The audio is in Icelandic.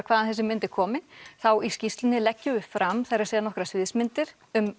hvaðan þessi mynd er komin þá í skýrlsunni leggjum við fram nokkrar sviðsmyndir um